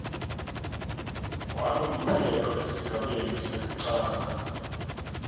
walomphelo esigabeni sekucala